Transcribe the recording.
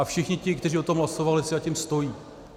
A všichni ti, kteří o tom hlasovali, si za tím stojí.